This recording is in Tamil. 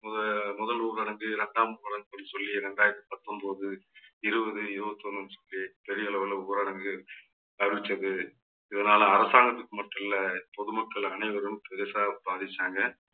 முத முதல் ஊரடங்கு இரண்டாம் சொல்லி இரண்டாயிரத்தி பத்தொன்பது இருபது இருபத்தி ஒண்ணுன்னு சொல்லி பெரிய அளவுல ஊரடங்கு அறிவித்தது. இதனால அரசாங்கத்துக்கு மட்டும் இல்லை பொதுமக்கள் அனைவரும் பெருசா பாதிச்சாங்க